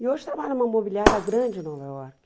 E hoje trabalha em uma imobiliária grande em Nova York.